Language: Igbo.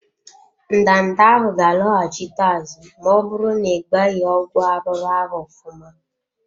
Ndanda ahụ ga loghachite azụ ma ọbụrụ n'igbaghi ọgwụ arụrụ ahụ ofụma.